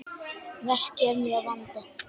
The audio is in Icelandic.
Verkið er mjög vandað.